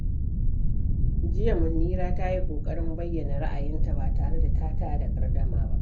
Jiya, Munira ta yi ƙoƙarin bayyana ra’ayinta ba tare da tada gardama ba.